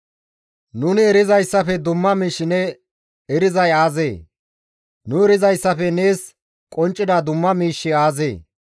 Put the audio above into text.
Nuni erizayssafe dumma miish ne erizayssi aazee? Nu erizayssafe nees qonccida dumma miishshi aazee?